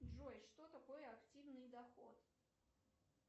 джой что такое активный доход